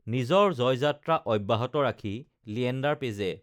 নিজৰ জয়যাত্ৰা অব্যাহত ৰাখি লিয়েণ্ডাৰ পেজে